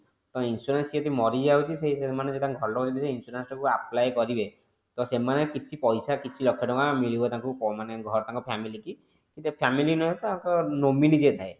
ତ insurance ଯଦି କିଏ ମରିଯାଉଛି ମାନେ ତାଙ୍କ ଘର ଲୋକ ଯଦି insurance ଯଦି apply କରିବେ ତ ସେମାନେ କିଛି ପଇସା କିଛି ଲକ୍ଷ ଟଙ୍କା ମିଳିବ ତାଙ୍କୁ ମାନେ ତାଙ୍କ family କି family ନୁହେଁ ତ ତାଙ୍କ nominee ଯିଏ ଥାଏ